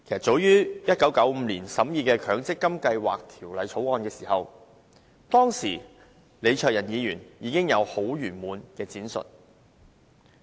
早於1995年，當立法局審議《強制性公積金計劃條例草案》時，當時的李卓人議員有很詳盡的闡述。